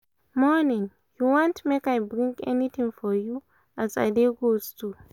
morning! you want make make i bring anything for you as i dey go store?